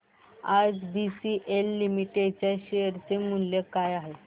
आज BCL limited च्या share चे मूल्य काय आहे